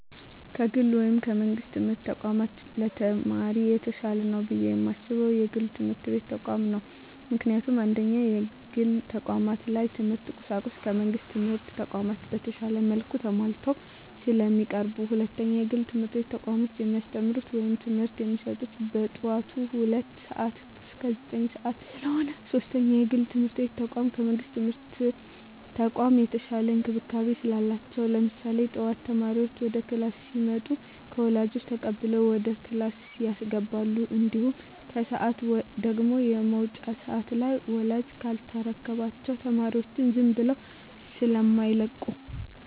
ከግል ወይም ከመንግስት የትምህርት ተቋማት ለተማሪ የተሻለ ነው ብየ የማስበው የግል የትምህርት ተቋማትን ነው። ምክንያቱም፦ 1ኛ, የግል ተቋማት ላይ የትምህርት ቁሳቁሱ ከመንግስት ትምህርት ተቋማቶች በተሻለ መልኩ ተማሟልተው ስለሚቀርቡ። 2ኛ, የግል የትምህርት ተቋሞች የሚያስተምሩት ወይም ትምህርት የሚሰጡት ከጠዋቱ ሁለት ሰዓት እስከ ዘጠኝ ሰዓት ስለሆነ። 3ኛ, የግል የትምርት ተቋም ከመንግስት የትምህርት ተቋም የተሻለ እንክብካቤ ስላላቸው። ለምሳሌ ጠዋት ተማሪዎች ወደ ክላስ ሲመጡ ከወላጆች ተቀብለው ወደ ክላስ ያስገባሉ። እንዲሁም ከሰዓት ደግሞ የመውጫ ሰዓት ላይ ወላጅ ካልተረከባቸው ተማሪዎቻቸውን ዝም ብለው ስማይለቁ።